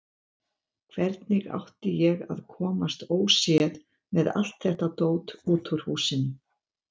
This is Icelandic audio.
Hvernig átti ég að komast óséð með allt þetta dót út úr húsinu?